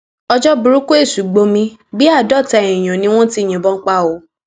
ọjọ burúkú èṣù gbomi bíi àádọta èèyàn ni wọn ti yìnbọn pa o